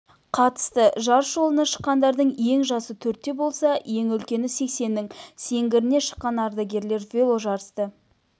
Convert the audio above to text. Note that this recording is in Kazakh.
қатысты жарыс жолына шыққандардың ең жасы төртте болса ең үлкені сексеннің сеңгіріне шыққан ардагерлер веложарысты